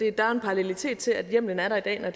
en parallelitet til at hjemmelen er der i dag når